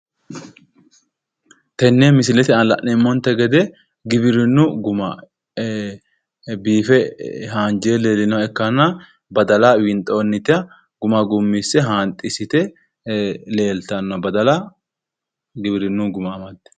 Tenne misilete aana la'neemonte gede giwirinu Guma biife haanjire leelanoha ikkana badala winxoonita Guma gummise haanxisite leeltanno badala giwirinu Guma amadde